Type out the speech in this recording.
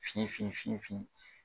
Fin fin fin